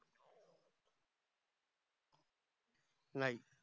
नाही